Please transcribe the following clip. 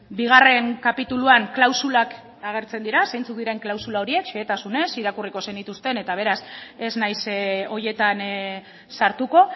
bigarren kapituluan klausulak agertzen dira zeintzuk diren klausula horiek xehetasunez irakurriko zenituzten eta beraz ez naiz horietan sartuko